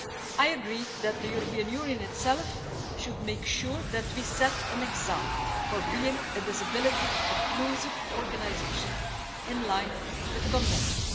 I agree that the EU itself should make sure that we set an example by being a disability inclusive organisation in line with the Convention.